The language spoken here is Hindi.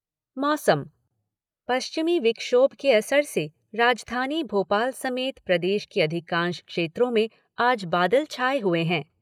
मौसम पश्चिमी विक्षोभ के असर से राजधानी भोपाल समेत प्रदेश के अधिकांश क्षेत्रों में आज बादल छाये हुए हैं।